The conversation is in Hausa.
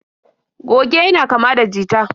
Goge yana kama da jita.